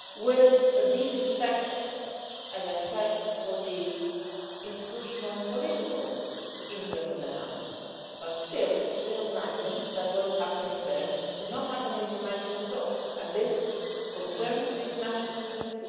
I say this with a deep respect for the institutional and political internal dynamics, but still recognising that what is happening there is not happening behind closed doors and concerns the international community.